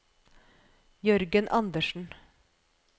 Jørgen Andersen